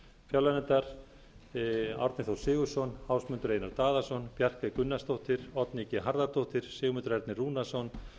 fjárlaganefndar árni þór sigurðsson ásmundur einar daðason bjarkey gunnarsdóttir oddný g harðardóttir sigmundur ernir rúnarsson